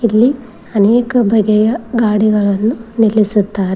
ಇಲ್ಲಿ ಅನೇಕ ಬಗೆಯ ಗಾಡಿಗಳನ್ನು ನಿಲ್ಲಿಸುತ್ತಾರೆ.